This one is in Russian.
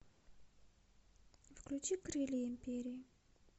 включи крылья империи